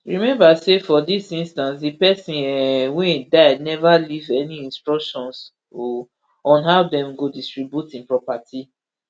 remember say for dis instance di pesin um wey die neva leave any instructions um on how dem go distribute im property